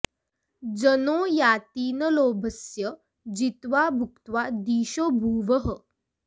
जनो याति न लोभस्य जित्वा भुक्त्वा दिशो भुवः